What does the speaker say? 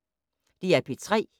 DR P3